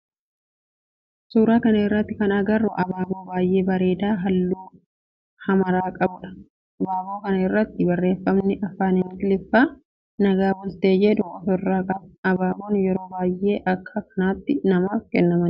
Suuraa kana irratti kan agarru abaaboo baayyee bareedaa halluu hamara qabudha. Abaaboo kana irratti barreefamni afaan ingiliffaan nagaa bultee jedhu of irraa qaba. Abaaboo yeroo baayyee akka kennaatti namaaf kennamudha.